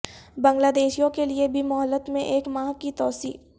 بنگلہ دیشیوں کیلئے بھی مہلت میں ایک ماہ کی توسیع